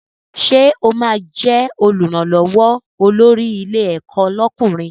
Sọ ma jẹ́ Olùrànlọ́wọ́ olórí ilé ẹ̀kọ́ lọ́kùnrin?